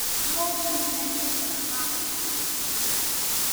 Maũndũ nĩmekĩkaga ma gũkũinamia ngoro